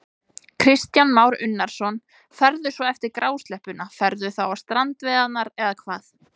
Kristján Már Unnarsson: Ferðu svo eftir grásleppuna, ferðu þá á strandveiðarnar eða hvað?